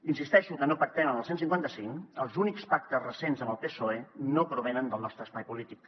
insisteixo que no pactem amb el cent i cinquanta cinc els únics pactes recents amb el psoe no provenen del nostre espai polític